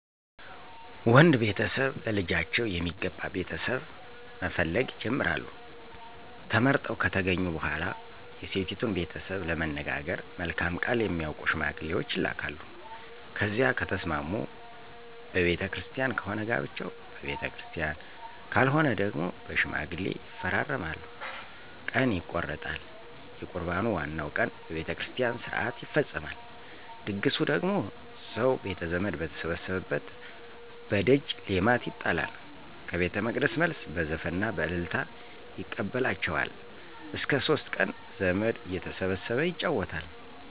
ወንድ ቤተሰብ ለልጃቸው የሚገባ ቤተሰብ እየፈለጉ ይጀምራሉ። ተመርጠው ከተገኙ በኋላ የሴቲቱን ቤተሰብ ለመነጋገር መልካም ቃል የሚያውቁ ሸማግሌዎች ይላካሉ። ከዚያ ከተስማሙ በቤተ ክርስቲያን ከሆነ ጋብቻው በቤተክርስቲያን ካልሆነ ደግሞ በሽማግሌ ይፈራረማሉ። ቀን ይቆረጣል። የቁርባኑ ዋናው ቀን በቤተ ክርስቲያን ሥርዓት ይፈፀማል። ድግሱ ደግሞ ሰው ቤተዘመድ በተሰበሰበበት በደጅ ሌማት ይጣላል። ከቤተመቅደስ መልስ በዘፈንና በእልልታ ይቀበላቸዋል። እስከ ሶስት ቀን ዘመድ እየተሰበሰበ ይጫወታል።